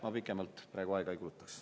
Ma pikemalt praegu aega ei kulutaks.